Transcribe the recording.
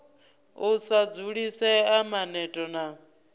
u sa dzulisea maneto na